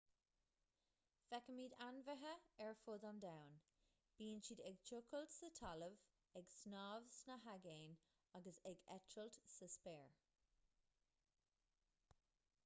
feicimid ainmhithe ar fud an domhain bíonn siad ag tochailt sa talamh ag snámh sna haigéin agus ag eitilt sa spéir